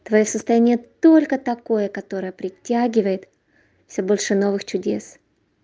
твоё состояние только такое которое притягивает всё больше новых чудес